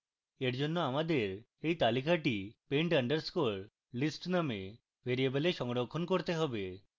for জন্য আমাদের এই তালিকাটি pend _ list নামক ভ্যারিয়েবলে সংরক্ষণ করতে হবে